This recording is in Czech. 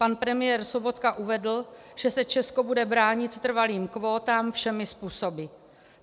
Pan premiér Sobotka uvedl, že se Česko bude bránit trvalých kvótám všemi způsoby.